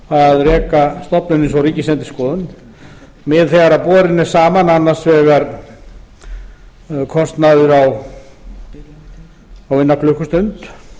að reka stofnun eins og ríkisendurskoðun þegar borinn er saman annars vegar kostnaður á eina klukkustund